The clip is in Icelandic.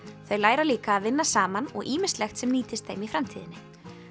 þau læra líka að vinna saman og ýmislegt sem nýtist þeim í framtíðinni